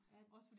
Er den?